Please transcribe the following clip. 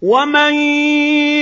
وَمَن